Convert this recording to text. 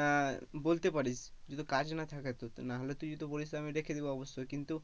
আহ বলতে পারিস যদি কাজ না থাকে না হলে তুই যদি বলিস আমি রেখে দেবো, অবশ্যই কিন্তু,